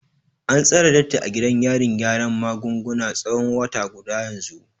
An tsare Datti a gidan yarin gyaran magunguna tsawon wata guda yanzu.